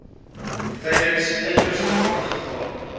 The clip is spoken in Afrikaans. tydens uiterste brandgevaar